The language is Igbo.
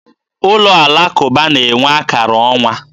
Ụlọ alakụba na-enwe akara ọnwa.